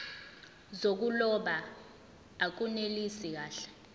zokuloba akunelisi kahle